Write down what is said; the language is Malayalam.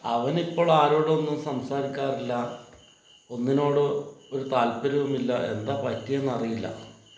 അവനിപ്പോൾ ആരോടും ഒന്നും സംസാരിക്കാറില്ല ഒന്നിനോട് ഒരു താൽപര്യവുമില്ല എന്താ പറ്റിയെന്ന് അറിയില്ല